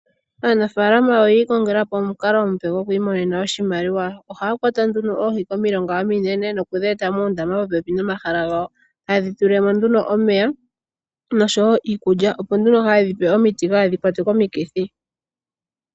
Aanafaalama oyi ikongela po omukalo omupe gokwiimonena oshimaliwa. Ohaa kwata nduno oohi komilonga ominene, noku dhi eta moondama popepi nomahala gawo, taye dhi tulile mo nduno omeya, nosho wo iikulya, opo nduno haye dhi pe omiti kaadhi kwatwe komikithi.